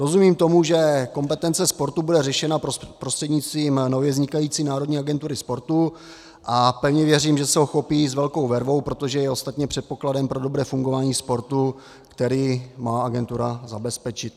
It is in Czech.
Rozumím tomu, že kompetence sportu bude řešena prostřednictvím nově vznikající Národní agentury sportu, a pevně věřím, že se ho chopí s velkou vervou, protože je ostatně předpokladem pro dobré fungování sportu, který má agentura zabezpečit.